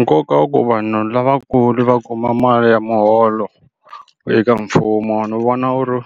Nkoka wa ku vanhu lavakulu va kuma mali ya muholo eka mfumo ni vona wu ri